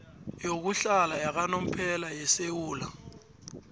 yokuhlala yakanomphela yesewula